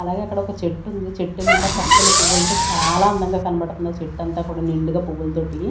అలాగే అక్కడ ఒక చెట్టుంది చెట్టు నిండా పచ్చని పువ్వులతో చాలా అందంగా కనబడుతుంది చెట్టంతా కూడా నిండుగా పువ్వులతోటి.